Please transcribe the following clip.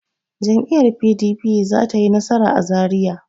Jam'iyyar PDP za ta yi nasara a Zariya.